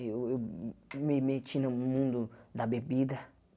Eu eu me me meti no mundo da bebida.